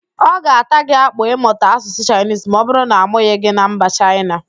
Ọ ga-ata gị akpụ ịmụta Asụsụ Chaịnisi ma ọbụrụ na amụghị gị na mba Chaịna